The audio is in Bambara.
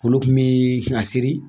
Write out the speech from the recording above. Olu kunmi sin k'a seri.